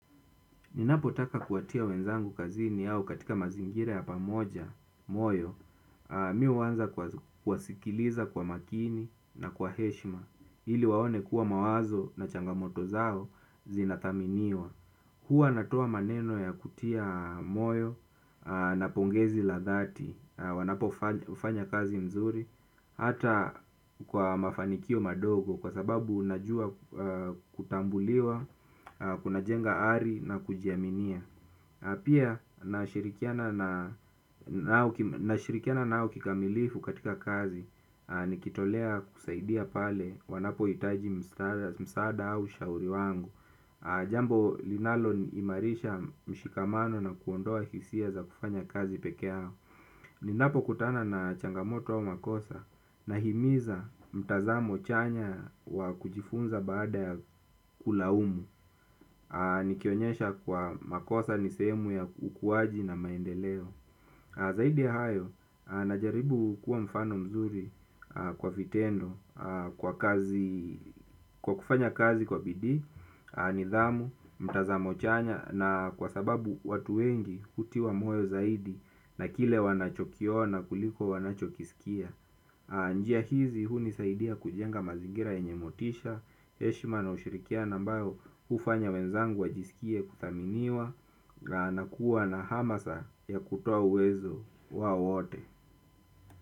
Ninapotaka kuwatia wenzangu kazini au katika mazingira ya pamoja moyo, mimi huanza kuwasikiliza kwa makini na kwa heshima, ili waone kuwa mawazo na changamoto zao zinathaminiwa. Hua natoa maneno ya kutia moyo na pongezi la dhati, wanapofanya kazi mzuri, hata kwa mafanikio madogo kwa sababu unajua kutambuliwa, kunajenga ari na kujiaminia. Pia nashirikiana nao kikamilifu katika kazi. Nikitolea kusaidia pale wanapohitaji msaada au ushauri wangu. Jambo linaloimarisha mshikamano na kuondoa hisia za kufanya kazi pekee yao. Ninapokutana na changamoto au makosa nahimiza mtazamo chanya wa kujifunza baada ya kulaumu. Nikionyesha kwa makosa ni sehemu ya ukuwaji na maendeleo. Zaidi ya hayo, najaribu kuwa mfano mzuri kwa vitendo. Kwa kufanya kazi kwa bidii, nidhamu, mtazamo chanya. Na kwa sababu watu wengi hutiwa moyo zaidi na kile wanachokiona kuliko wanachokisikia. Njia hizi hunizaidia kujenga mazingira yenye motisha heshima na ushirikiano ambayo hufanya wenzangu wajisikie kuthaminiwa na kuwa na hamasa ya kutoa uwezo wao wote.